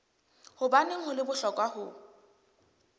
hobaneng ho le bohlokwa ho